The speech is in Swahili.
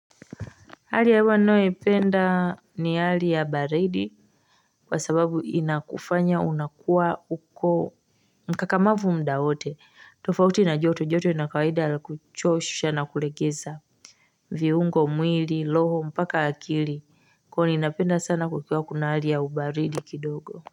Hali ya hewa ninayoipenda ni hali ya baridi kwa sababu inakufanya unakua uko mkakamavu muda wote tofauti na joto joto na kawaida ya kuchosha na kulegeza viungo mwili loho mpaka akili ko ninapenda sana kukua kuna hali ya ubaridi kidogo.